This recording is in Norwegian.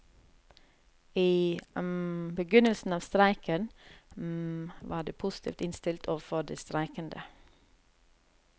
I begynnelsen av streiken var de positivt innstilt overfor de streikende.